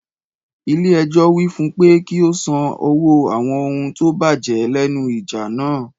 Ilé ẹjọ́ wí fún pe kí ó san owó àwọn ohun tó bàjẹ́ lẹ́nu ìjà náà.